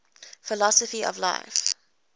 philosophy of life